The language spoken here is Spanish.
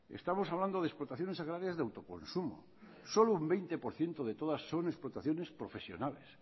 estamos hablando de explotaciones agrarias de autoconsumo solo un veinte por ciento de todas son explotaciones profesionales